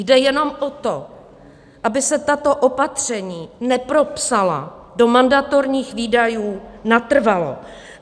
Jde jenom o to, aby se tato opatření nepropsala do mandatorních výdajů natrvalo.